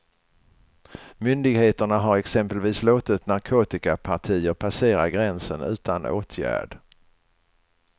Myndigheterna har exempelvis låtit narkotikapartier passera gränsen utan åtgärd.